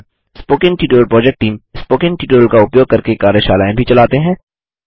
spoken tutorial project team spoken tutorial का उपयोग करके कार्यशालाएँ भी चलाते हैं